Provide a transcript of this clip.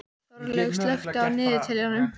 Þorlaug, slökktu á niðurteljaranum.